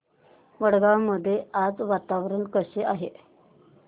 वडगाव मध्ये आज वातावरण कसे आहे